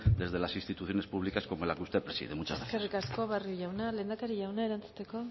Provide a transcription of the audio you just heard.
desde las instituciones públicas como la que usted preside muchas gracias eskerrik asko barrio jauna lehendakari jauna erantzuteko